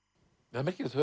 það er merkilegt